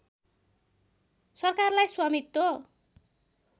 सरकारलाई स्वामित्व